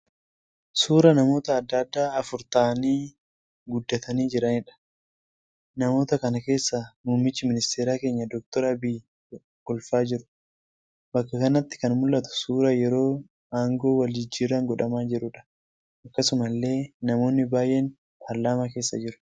Suuraa namoota adda addaa afur ta'aanii guddatanii jiraniidha. Namoota kana keessaa muummichi ministeeraa keenya Dr. Abiyyiin kolfaa jiru. Bakka kanatti kan mul'atu suuraa yeroo aangoo wal jijjiirraan godhamaa jiraniidha. Akkasumallee namoonni baay'een paarlaamaa keessa jiru.